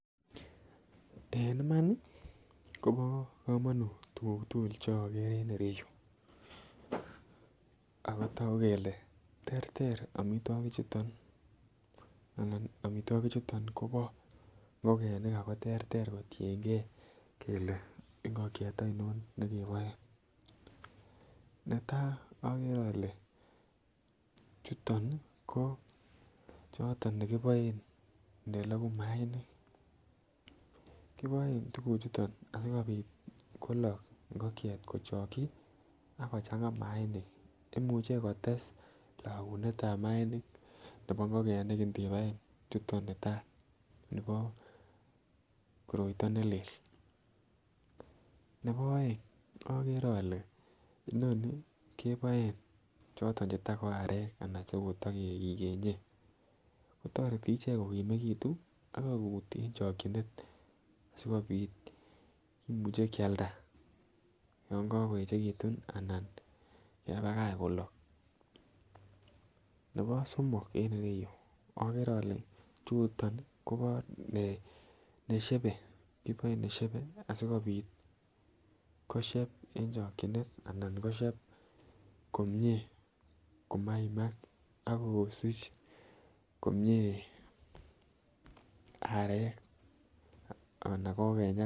En Imani Kobo komonut tukuk tukul che okere en ireyuu ako toku kele terter omitwokik chuton anan omitwokik chuton Kobo ingokenik ako terter kotiyengee kele ingokiet oinon nekeboe. Netai okere ole chutoni ko choton nekiboen neloku mainik, kiboen tukuk chuton asikopit kolok ngokiet kochoki ak kochanga mainik imuche kotes lokunetab mainik nebo ingokenik ndibaen chutok netai nebo koroito nelel. Nebo oeng okere ole inoni keboen choton cheto ko arek anan chekoto kikenye kotoreti ichek kokimekitun ak kokut en chokinet sikopit kimuche Kialda yon kokoyechekitut anan kebakach kolok. Nebo somok en ireyuu okere ole chutoni Kobo neshebe kiboe neshebe asikopit kosheb eb chokinet anan kosheb komie komaimak akosich komie arek anan kokenyak.